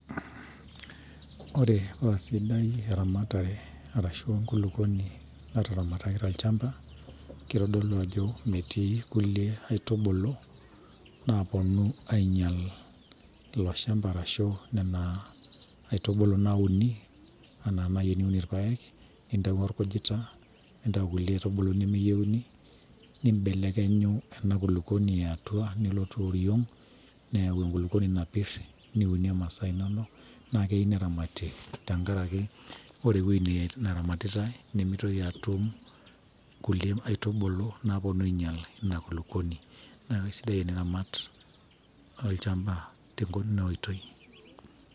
Ore paa sidai eramatare arashu enkulukuoni nataramataki tolchamba kitodolu ajo, metii nkulie aitubulu naaponu ainyial ilo shamba arashu nena aitubulu nauni. Enaa naaji teniun ilpaek nintayio olkujita nintayu nkulie aitubulu nemeyieuni. Nimbelekenyu ena kulukuoni ee atua nelotu oriong, neyau enkulukuoni napirr niunie masaa inonok. Naa keyieu neramati tenkaraki ore ewueji naramatitai nimitoki atum nkulie aitubulu naaponu ainyial ina kulukuoni. Niaku keisidai eniramat olchamba teina oitoi.